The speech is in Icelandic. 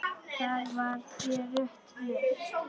Þar var þér rétt lýst!